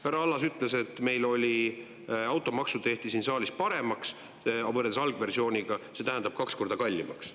Härra Allas ütles, et automaksu tehti siin saalis paremaks võrreldes algversiooniga – see tähendab kaks korda kallimaks.